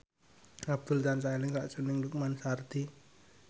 Abdul tansah eling sakjroning Lukman Sardi